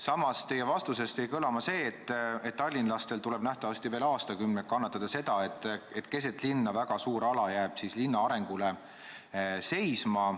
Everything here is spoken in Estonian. Samas jäi teie vastusest kõlama, et tallinlastel tuleb nähtavasti veel aastakümneid kannatada seda, et keset linna asuv väga suur ala jääb linna arengust välja.